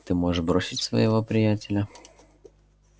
ты можешь бросить своего приятеля